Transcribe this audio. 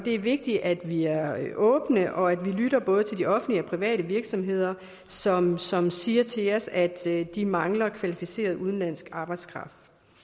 er vigtigt at vi er åbne og at vi lytter både til de offentlige og private virksomheder som som siger til os at de mangler kvalificeret udenlandsk arbejdskraft